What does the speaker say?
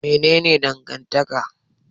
Mene ne dangantaka?